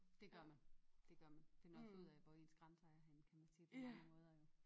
Dét gør man. Dét gør man finder også ud af hvor ens grænser er henne kan man sige på mange måder i hvert fald